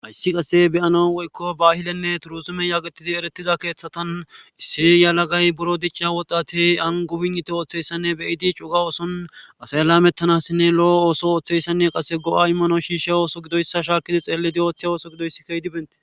ayssi qase beyano woykko bahilenne turuzume yaagetidi eretida keeththatan issi yalagay buro dicca wodati angubinniti ooththeyssanne beyidi cuga oson asay laamettanassinne lo7o ooso ooththeyssanne qase go7a immano shiishe ooso gidoyssa shaakidi xeelidi ooththe ooso gidoysi keydibente